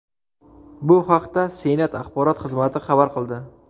Bu haqda Senat axborot xizmati xabar qildi .